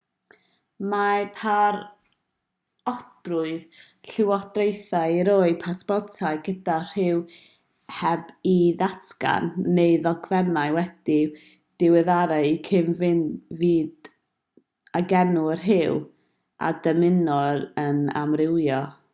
mae parodrwydd llywodraethau i roi pasportau gyda rhyw heb ei ddatgan x neu ddogfennau wedi'u diweddaru i gyd-fynd ag enw a rhyw a ddymunir yn amrywio